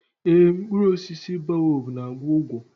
Ee, mkpụrụ osisi baobab na-agwọ ụgwọ.